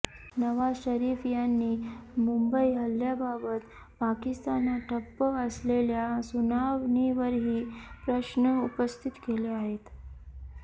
नवाज शरीफ यांनी मुंबई हल्ल्याबाबत पाकिस्तानात ठप्प असलेल्या सुनावणीवरही प्रश्न उपस्थित केले आहेत